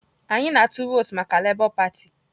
Anyị na-atụ vootu maka Lebọ patị